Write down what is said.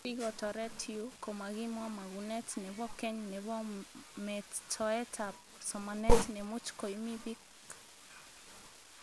Sikotoret yuu, komakimwa magunet nebo keny nebo metoetab somanet, nemuch koimi bik